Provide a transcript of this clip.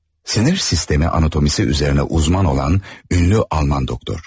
Sinir sistemi anatomisi üzərinə uzman olan ünlü Alman doktor.